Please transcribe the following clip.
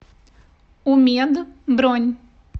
умед бронь